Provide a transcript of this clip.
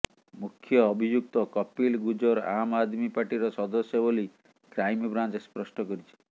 ମୁଖ୍ୟ ଅଭିଯୁକ୍ତ କପିଲ ଗୁଜ୍ଜର ଆମ ଆଦମୀ ପାର୍ଟିର ସଦସ୍ୟ ବୋଲି କ୍ରାଇମବ୍ରାଞ୍ଚ ସ୍ପଷ୍ଟ କରିଛି